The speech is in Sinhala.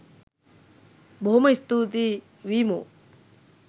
බොහොම ස්තූතියි වීමෝ